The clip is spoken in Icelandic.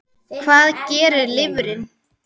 Hvað gerir lifrin?